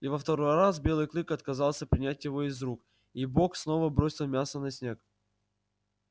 и во второй раз белый клык отказался принять его из рук и бог снова бросил мясо на снег